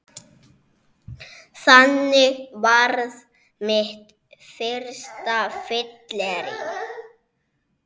Þannig varð mitt fyrsta fyllerí